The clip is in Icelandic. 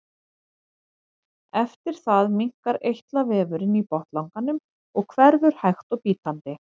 Eftir það minnkar eitlavefurinn í botnlanganum og hverfur hægt og bítandi.